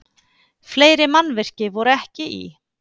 Fleiri mannvirki voru ekki í